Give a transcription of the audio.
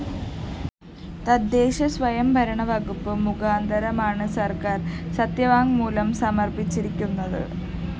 തദ്ദേശസ്വയംഭരണ വകുപ്പ് മുഖാന്തരമാണ് സര്‍ക്കാര്‍ സത്യവാങ്മൂലം സമര്‍പ്പിച്ചിരിക്കുന്നത്